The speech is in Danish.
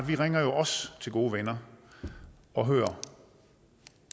vi ringer jo også til gode venner og hører